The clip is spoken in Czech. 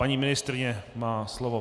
Paní ministryně má slovo.